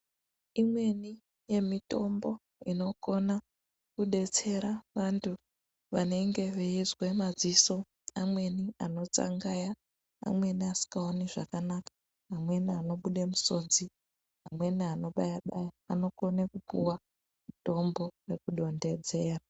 Imweni yemitombo inokona kudetsera vantu vanenge veizwe madziso amweni anotsangaya amweni asikaoni zvakanaka amweni anobude misodzi amweni anobaya baya anokone kupuwa mutombo wekudonhedzera